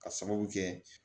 Ka sababu kɛ